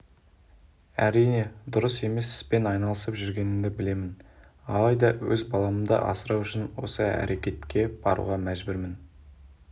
әрине дұрыс емес іспен айналысып жүргенімді білемін алайда өз баламды асырау үшін осы әрекетке баруға мәжбүрмін